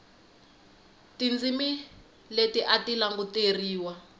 tindzimi leti a ti languteriwa